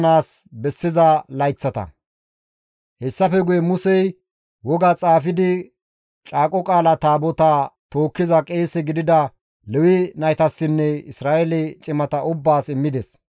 Hessafe guye Musey woga xaafidi Caaqo Qaala Taabotaa tookkiza qeese gidida Lewe naytassinne Isra7eele cimata ubbaas immides.